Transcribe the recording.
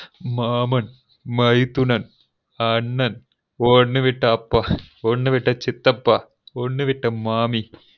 மாமன் மைத்துனன் அண்ணன் ஒன்னு விட்ட அப்பா ஒன்னு விட்ட சித்தப்பா ஒன்னு விட்ட மாமி